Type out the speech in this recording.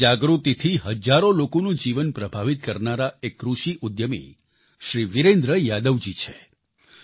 પોતાની જાગૃતિથી હજારો લોકોનું જીવન પ્રભાવિત કરનારા એક કૃષિ ઉદ્યમી શ્રી વિરેન્દ્ર યાદવજી છે